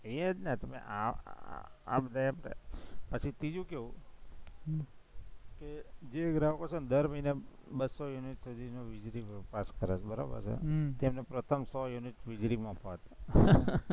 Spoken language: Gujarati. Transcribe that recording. કઈયે જ ને તમે આમ પાછું ત્રીજું કેવું કે જે ગ્રાહકો છે ને દર મહિનામાં બસ્સો યુનિટ વીજળી pass કરાવે બરાબર છે, હમ તેને પ્રથમ સો યુનિટ વીજળી મફત